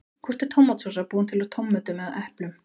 Hvort er tómatsósa búin til úr tómötum eða eplum?